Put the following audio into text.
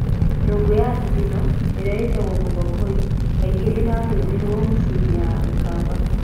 Nyũngũ ya thithino, ĩrĩa ĩĩtagwo muthokoi, kaingĩ ĩrarĩrũo mĩciĩ-inĩ ya Akamba.